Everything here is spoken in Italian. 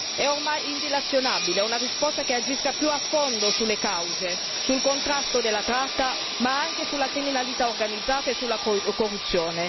È ormai indilazionabile una risposta che agisca più a fondo sulle cause, sul contrasto della tratta ma anche sulla criminalità organizzata e sulla corruzione.